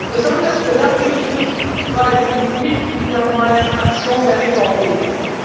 Besonders bedanke ich mich bei den Mitgliedern meiner EVP Fraktion.